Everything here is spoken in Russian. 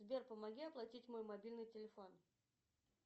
сбер помоги оплатить мой мобильный телефон